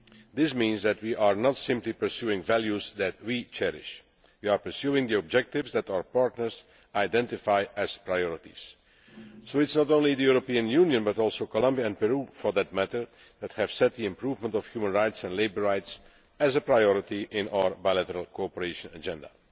This means that we are not simply pursuing values that we cherish we are pursuing the objectives that our partners identify as priorities. So not only the European Union but also Colombia and Peru for that matter have set the improvement of human and labour rights as a priority on our bilateral cooperation agenda.